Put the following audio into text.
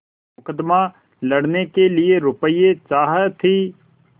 मुकदमा लड़ने के लिए रुपये की चाह थी